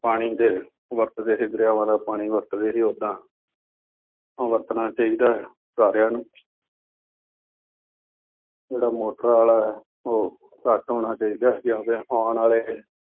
ਪਾਣੀ ਜੇ ਵਰਤਦੇ ਸੀ ਅਤੇ ਦਰਿਆਵਾਂ ਦਾ ਪਾਣੀ ਵਰਤਦੇ ਸੀ। ਉਦਾਂ ਉਹ ਵਰਤਣਾ ਚਾਹੀਦਾ ਹੈ ਸਾਰਿਆਂ ਨੂੰ ਜਿਹੜਾ ਮੋਟਰ ਵਾਲਾ ਹੈ ਉਹ ਘੱਟ ਹੋਣਾ ਚਾਹੀਦਾ ਹੈ ਕਿਉਂਕਿ ਆਉਣ ਵਾਲੇ